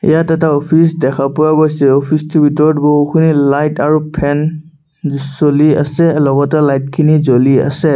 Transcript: ইয়াত এটা অফিচ দেখা পোৱা গৈছে অফিচ টোৰ ভিতৰত বহুখিনি লাইট আৰু ফেন চলি আছে লগতে লাইট খিনি জ্বলি আছে।